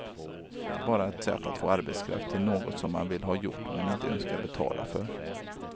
Den är bara ett sätt att få arbetskraft till något som man vill ha gjort men inte önskar betala för.